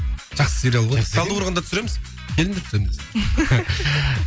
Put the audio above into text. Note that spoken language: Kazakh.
жақсы сериал ғой талдықорғанда түсіреміз